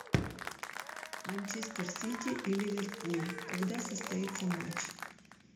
манчестер сити и ливерпуль когда состоится матч